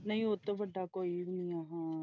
ਨਹੀਂ ਉਹ ਤੋਂ ਵੱਡਾ ਕੋਈ ਨਹੀਂ ਹਾਂ।